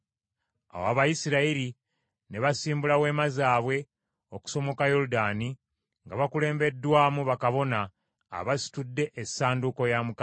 Awo Abayisirayiri ne basimbula weema zaabwe okusomoka Yoludaani nga bakulembeddwamu bakabona abasitudde Essanduuko y’Endagaano.